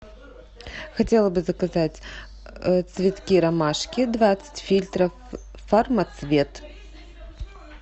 хотела бы заказать цветки ромашки двадцать фильтров фармацвет